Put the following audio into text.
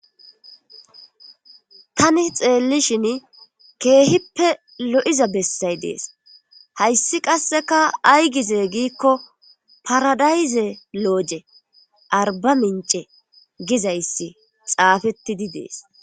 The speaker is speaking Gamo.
Tani xeellishin keehippe lo7iza bessay dees hayssi qasseka ay gize giikko paradayze looje arba mince gizayssi xaafettidi dees.